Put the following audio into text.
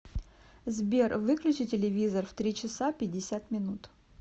сбер выключи телевизор в три часа пятьдесят минут